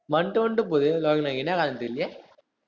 வாண்டுவந்து போகுது லோகநாயகி என்ன தெரியலையே